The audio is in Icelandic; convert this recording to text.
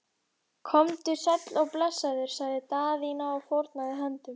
Komdu sæll og blessaður, sagði Daðína og fórnaði höndum.